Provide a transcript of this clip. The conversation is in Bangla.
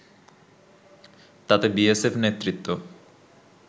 তাতে বিএসএফ নেতৃত্ব